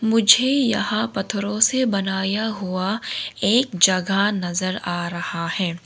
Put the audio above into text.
मुझे यहां पत्थरों से बनाया हुआ एक जगह नजर आ रहा है।